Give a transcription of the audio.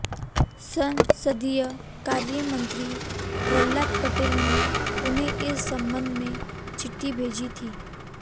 संसदीय कार्य मंत्री प्रल्हाद पटेल ने उन्हें इस संबंध में चिट्ठी भेजी थी